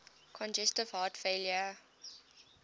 congestive heart failure